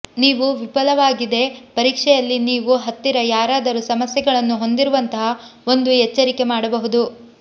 ನೀವು ವಿಫಲವಾಗಿದೆ ಪರೀಕ್ಷೆಯಲ್ಲಿ ನೀವು ಹತ್ತಿರ ಯಾರಾದರೂ ಸಮಸ್ಯೆಗಳನ್ನು ಹೊಂದಿರುವಂತಹ ಒಂದು ಎಚ್ಚರಿಕೆ ಮಾಡಬಹುದು